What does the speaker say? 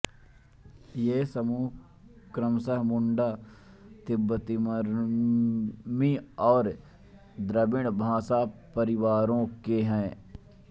ये समूह क्रमश मुंडा तिब्बतीबर्मी और द्रविड़ भाषापरिवारों के हैं